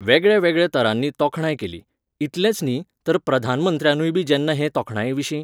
वेगळ्यावेगळ्या तरांनी तोखणाय केली. इतलेंच न्ही, तर प्रधानमंत्र्यानूयबी जेन्ना हे तोखणाये विशीं